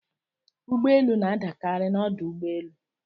Ụgbọelu na-adakarị n'ọdụ ụgbọelu.